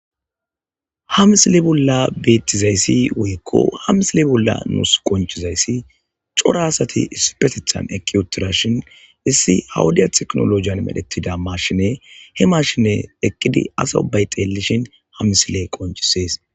ha misile bolla beettizayssi woykko ha misile bolla nuus qoncizayssi cora asati isupetethan ekiwutirashin issi hawudiya teknolojiyan medhetida marshine he mashine eqqidi asa ubay xeellishin hamisiley qoncisees